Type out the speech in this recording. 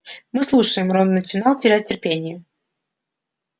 мы слушаем рон начинал терять терпение